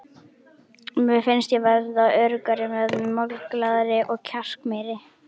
Mér fannst ég verða öruggari með mig, málglaðari og kjarkmeiri.